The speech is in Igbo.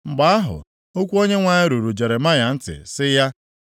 Mgbe ahụ, okwu Onyenwe anyị ruru Jeremaya ntị sị ya,